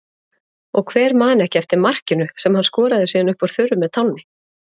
Og hver man ekki eftir markinu sem hann skoraði síðan upp úr þurru með tánni?